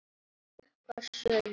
Klukkan sjö líka.